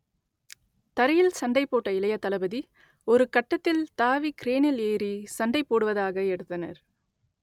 தரையில் சண்டை போட்ட இளைய தளபதி ஒருகட்டத்தில் தாவி கிரேனில் ஏறி சண்டை போடுவதாக எடுத்தனர்